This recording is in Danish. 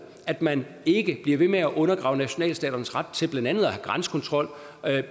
at man ikke bliver ved med undergrave nationalstaternes ret til blandt andet at have grænsekontrol